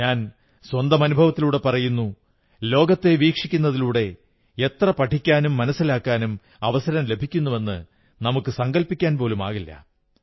ഞാൻ സ്വന്തം അനുഭവത്തിലൂടെ പറയുന്നു ലോകത്തെ വീക്ഷിക്കുന്നതിലൂടെ എത്ര പഠിക്കാനും മനസ്സിലാക്കാനും അവസരം ലഭിക്കുന്നുവെന്നത് നമുക്കു സങ്കൽപ്പിക്കാൻ പോലുമാകില്ല